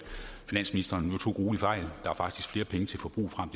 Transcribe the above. finansministeren nu tog gruelig fejl der er faktisk flere penge til forbrug frem